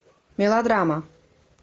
мелодрама